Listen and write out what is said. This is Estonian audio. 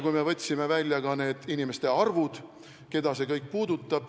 Me võtsime välja ka nende inimeste arvud, keda see puudutab.